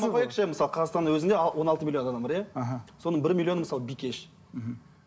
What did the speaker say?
мысалы қазақстанның өзінде он алты миллон адам бар иә іхі соның бір миллионы мысалы бикеш мхм